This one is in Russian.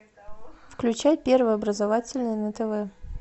включай первый образовательный на тв